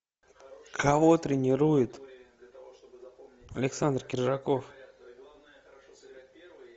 кого тренирует александр кержаков